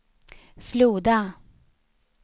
Floda